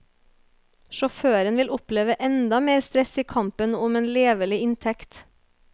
Sjåføren vil oppleve enda mer stress i kampen om en levelig inntekt.